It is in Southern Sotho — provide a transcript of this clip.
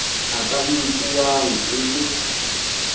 a ka nkuwang e le